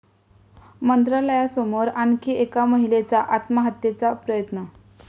मंत्रालयासमोर आणखी एका महिलेचा आत्महत्येचा प्रयत्न